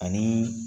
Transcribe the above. Ani